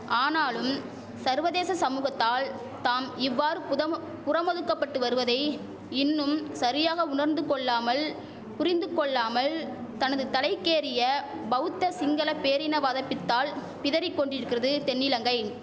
ஆனாலும் சர்வதேச சமுகத்தால் தாம் இவ்வாறு புதமொ புறமொதுக்கபட்டு வருவதை இன்னும் சரியாக உணர்ந்து கொள்ளாமல் புரிந்து கொள்ளாமல் தனது தலைக்கேறிய பௌத்த சிங்கள பேரினவாத பித்தால் பிதறி கொண்டிரிக்கிறது தென்னிலங்கை